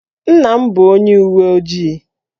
Nna m bụ onye uwe ojii